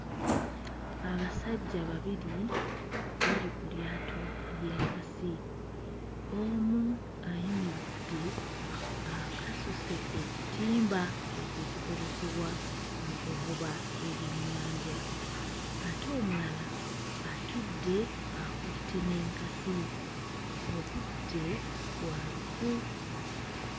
Abasajja babiri bali ku lyato ly'enkasi, omu ayimiridde akasuse ekitimba ekyo ekikozesebwa mu kuvuba ebyennyanja ate omulala atudde akutte n'enkasi. Obudde bwa lufu.